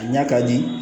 A ɲa ka di